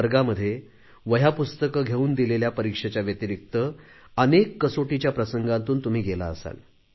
वर्गामध्ये वह्यापुस्तके घेऊन दिलेल्या परीक्षेच्या व्यतिरिक्त अनेक कसोटीच्या प्रसंगांतून तुम्ही गेला असाल